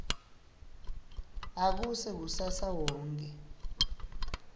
akuse kusasa wonkhe